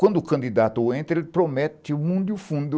Quando o candidato entra, ele promete o mundo e o fundo